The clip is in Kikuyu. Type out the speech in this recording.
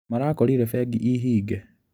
Marakorire bengi ĩ hinge?